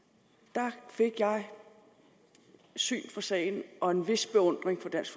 der fik jeg syn for sagen og en vis beundring for dansk